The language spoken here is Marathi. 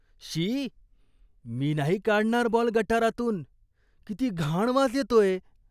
शी, मी नाही काढणार बॉल गटारातून. किती घाण वास येतोय.